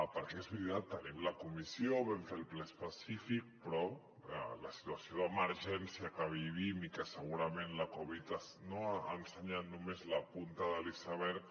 perquè és veritat tenim la comissió vam fer el ple específic però la situació d’emergència que vivim i que segurament la covid ha ensenyat només la punta de l’iceberg